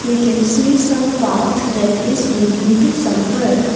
we can see some path that is leading to somewhere.